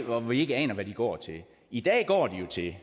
og vi ikke aner hvad de går til i dag går de til